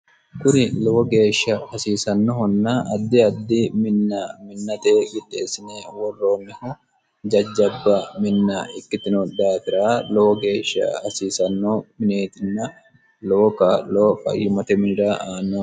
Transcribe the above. kuni lowo geeshsha hasiisannohonna addi addi minna minnate qixeessine worroonniho jajjabba minna ikkitino daafira lowo geeshsha hasiisanno mineetinna lowo kaa'lo fayimate minira aannoho